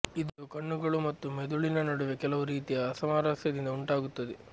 ಇದು ಕಣ್ಣುಗಳು ಮತ್ತು ಮೆದುಳಿನ ನಡುವೆ ಕೆಲವು ರೀತಿಯ ಅಸಾಮರಸ್ಯದಿಂದ ಉಂಟಾಗುತ್ತದೆ